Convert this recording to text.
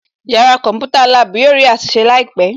Yàrá kọ̀ḿpútà/lab yóò rí àtúnṣe láìpẹ̀